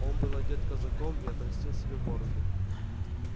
он был одет казаком и отрастил себе бороду